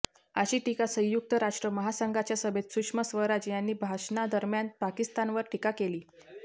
अशी टीका संयुक्त राष्ट्र महासंघाच्या सभेत सुषमा स्वराज यांनी भाषणादरम्यान पाकिस्तानवर टीका केली